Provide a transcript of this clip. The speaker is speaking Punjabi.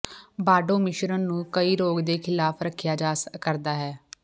ਬਾਰਡੋ ਮਿਸ਼ਰਣ ਨੂੰ ਕਈ ਰੋਗ ਦੇ ਖਿਲਾਫ ਰੱਖਿਆ ਕਰਦਾ ਹੈ